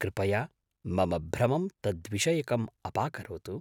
कृपया मम भ्रमं तद्विषयकम् अपाकरोतु।